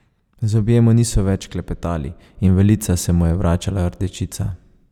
Zobje mu niso več šklepetali in v lica se mu je vračala rdečica.